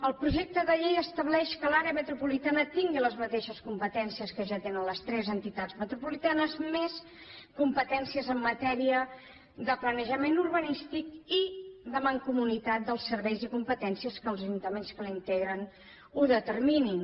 el projecte de llei estableix que l’àrea metropolitana tingui les mateixes competències que ja tenen les tres entitats metropolitanes més competències en matèria de planejament urbanístic i de mancomunitat dels serveis i de les competències que els ajuntaments que la integren ho determinin